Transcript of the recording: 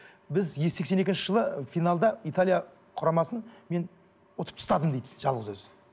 біз сексен екінші жылы финалда италия құрамасын мен ұтып тастадым дейді жалғыз өзі